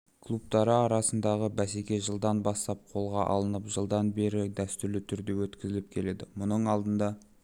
клубтары арасындағы бәсеке жылдан бастап қолға алынып жылдан бері дәстүрлі түрде өткізіліп келеді мұның алдында